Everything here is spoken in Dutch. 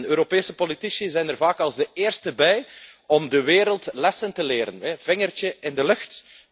Europese politici zijn er vaak als de eersten bij om de wereld lessen te leren. Vingertje in de lucht.